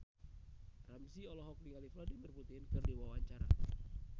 Ramzy olohok ningali Vladimir Putin keur diwawancara